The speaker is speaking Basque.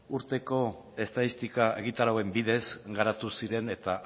urteko estatistika egitarauen bidez garatu ziren eta